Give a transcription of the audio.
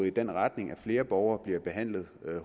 i den retning at flere borgere bliver behandlet